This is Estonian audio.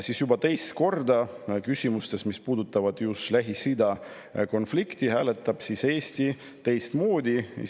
Aga juba teist korda küsimustes, mis puudutavad just Lähis-Ida konflikti, hääletab Eesti teistmoodi.